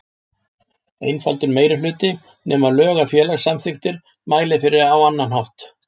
einfaldur meirihluti, nema lög eða félagssamþykktir mæli fyrir á annan veg.